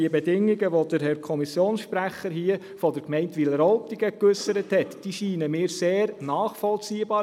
Die Bedingungen der Gemeinde Wileroltigen, die der Herr Kommissionssprecher wiedergegeben hat, scheinen mir sehr nachvollziehbar.